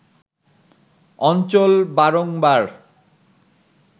অঞ্চল বারংবার